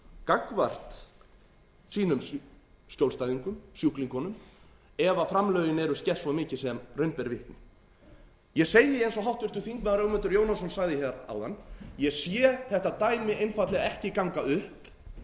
gagnvart sínum skjólstæðngum sjúklingum ef framlögin eru skert svo mikið sem raun ber vitni ég segi eins og h þingmenn ögmundur jónasson sagði hér áðan ég sé þetta dæmi einfaldlega ekki ganga upp